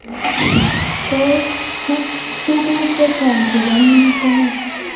Tos tukun chechang chrbo MYH kone.